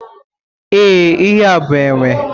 Ee, ihe a bụ enwe.